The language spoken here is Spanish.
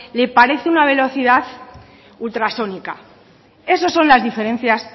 le parece una velocidad ultrasónica eso son las diferencias